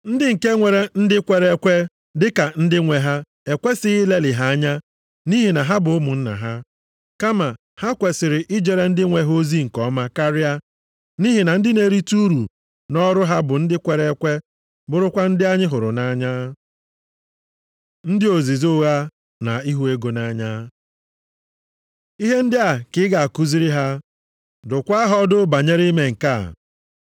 Ndị nke nwere ndị kwere ekwe dịka ndị nwe ha ekwesighị ilelị ha anya nʼihi na ha bụ ụmụnna ha. Kama, ha kwesiri ijere ndị nwe ha ozi nke ọma karịa, nʼihi na ndị na-erite uru nʼọrụ ha bụ ndị kwere ekwe bụrụkwa ndị anyị hụrụ nʼanya. Ndị ozizi ụgha na ịhụ ego nʼanya Ihe ndị a ka ị ga-akụziri ha, dụkwaa ha ọdụ banyere ime nke a.